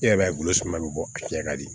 E yɛrɛ b'a ye suman bi bɔ a fiyɛ ka di